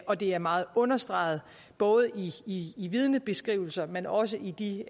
og det er meget understreget både i i vidnebeskrivelser men også i de